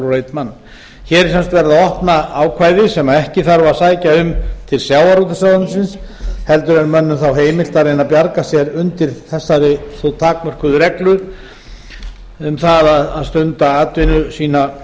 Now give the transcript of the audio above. mann hér er sem sagt verið að opna ákvæði sem ekki þarf að sækja um til sjávarútvegsráðuneytisins heldur er mönnum þá heimilt að reyna að bjarga sér undir þessari þó takmörkuðu reglu um það að stunda atvinnu sína